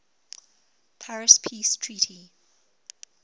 paris peace treaty